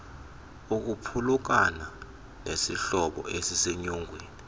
kukuphulukana nesihlobo esisenyongweni